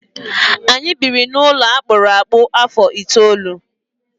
Anyị biri n'ụlọ akpụrụ akpụ afọ itoolu.